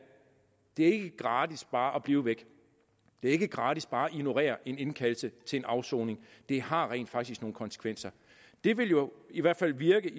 det er ikke gratis bare at blive væk det er ikke gratis bare at ignorere en indkaldelse til en afsoning det har rent faktisk nogle konsekvenser det vil jo i hvert fald virke